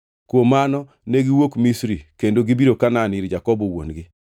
Kuom mano negiwuok Misri kendo gibiro Kanaan ir Jakobo wuon-gi.